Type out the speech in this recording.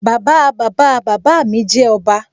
Bàbáa Bàbáa bàbá mi jẹ́ ọba